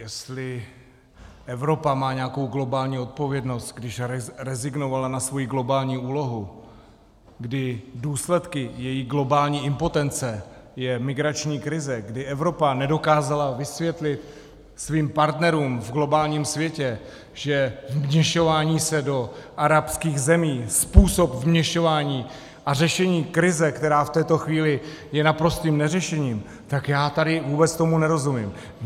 Jestli Evropa má nějakou globální odpovědnost, když rezignovala na svoji globální úlohu, kdy důsledkem její globální impotence je migrační krize, kdy Evropa nedokázala vysvětlit svým partnerům v globálním světě, že vměšování se do arabských zemí, způsob vměšování a řešení krize, která v této chvíli je naprostým neřešením, tak já tady vůbec tomu nerozumím.